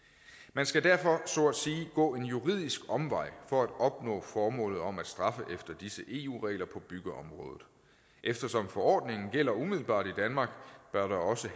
man skal derfor så at sige gå en juridisk omvej for at opnå formålet om at straffe efter disse eu regler på byggeområdet eftersom forordningen gælder umiddelbart i danmark bør der også